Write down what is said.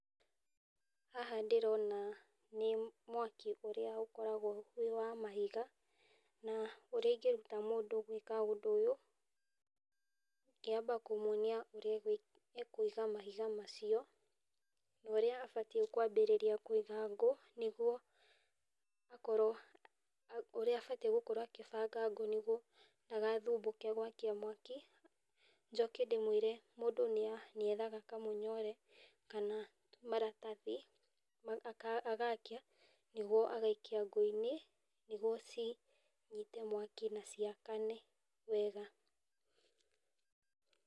Haha ndĩrona nĩ mwaki ũrĩa ũkoragwo wĩ wa mahiga, na ũrĩa ingĩruta mũndũ gwĩka ũndũ ũyũ, ingĩamba kũmwonia ũrĩa akũiga mahiga macio, na ũrĩa abatiĩ kwambĩrĩria kũiga ngũ, nĩgwo akorwo, ũrĩa abatiĩ gũkorwo agĩbanga ngũ nĩguo ndagathumbũke gwakia mwaki, njoke ndĩmwĩre mũndũ nĩ ethaga kamũnyore, kana maratathi agakia, nĩguo agakia ngũ-inĩ, nĩguo cinyite mwaki na ciakane wega.